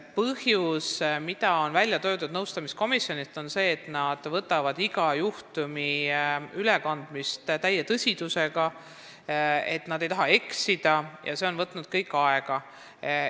Põhjus, mida on välja toonud nõustamiskomisjonid, on see, et nad võtavad iga juhtumi ülekandmist täie tõsidusega, nad ei taha eksida ja see kõik on võtnud aega.